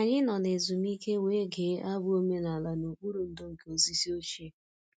Anyị nọ na ezumike wee gee abụ omenala n'okpuru ndò nke osisi ochie